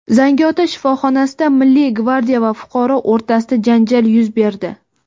Zangiota shifoxonasida Milliy gvardiya va fuqaro o‘rtasida janjal yuz berdi.